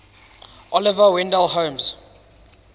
oliver wendell holmes